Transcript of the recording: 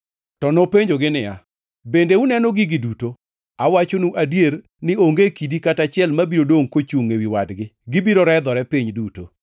To nopenjogi niya, “Bende uneno gigi duto? Awachonu adier ni onge kidi kata achiel mabiro dongʼ kochungʼ ewi wadgi, gibiro redhore piny duto.”